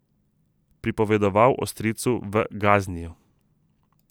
Pripovedoval o stricu v Gazniju.